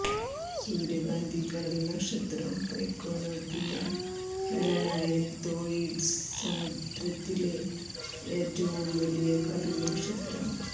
സൂര്യകാന്തി കടൽ നക്ഷത്രം പൈക്കോനോപ്പിയ ഹെലയാൻതോയ്ഡ്സ് സമുദ്രത്തിലെ ഏറ്റവും വലിയ കടൽ നക്ഷത്രം